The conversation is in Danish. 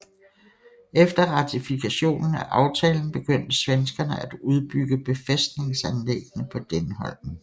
Efter ratifikationen af aftalen begyndte svenskerne at udbygge befæstningsanlæggene på Dänholm